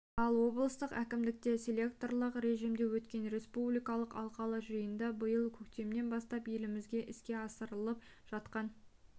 ал облыстық әкімдікте селекторлық режимде өткен республикалық алқалы жиында биыл көктемнен бастап елімізде іске асырылып жатқан